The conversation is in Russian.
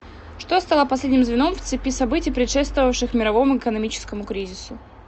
что стало последним звеном в цепи событий предшествовавших мировому экономическому кризису